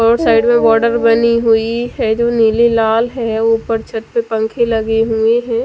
और साइड में बॉर्डर बनी हुई है जो नीली लाल है और ऊपर छत पे पंखे लगे हुए है।